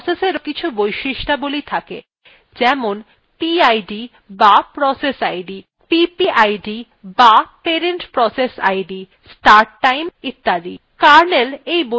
অনুরূপভাবে processএরও কিছু বৈশিষ্ট্যাবলী থাকে যেমনpid বা process id ppid বা parent process id start time ইত্যাদি